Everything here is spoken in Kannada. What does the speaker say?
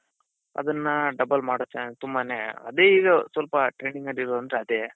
ಅದನ್ನ double ಮಾಡೋ chance ತುಂಬಾನೇ ಅದೆ ಈಗ ಸ್ವಲ್ಪ trend ನಡಿಯೋದು ಅಂದ್ರೆ ಅದೆ.